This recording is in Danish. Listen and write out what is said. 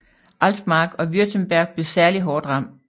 Altmark og Württemberg blev særlig hårdt ramt